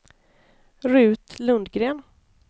Rut Lundgren